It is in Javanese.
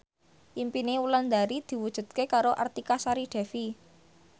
impine Wulandari diwujudke karo Artika Sari Devi